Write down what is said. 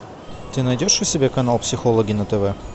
ты найдешь у себя канал психологи на тв